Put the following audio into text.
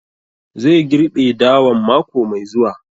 Zai girɓe dawan mako mai zuwa